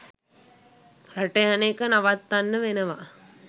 රට යන එක නවත්තන්න වෙනවා